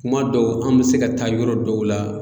Kuma dɔw an mi se ka taa yɔrɔ dɔw la